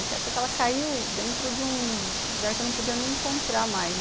Só que ela caiu dentro de um lugar que eu não podia nem encontrar mais.